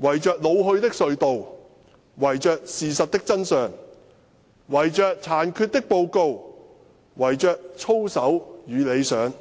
圍着老去的隧道，圍着事實的真相，圍着殘缺的報告，圍着操守與理想。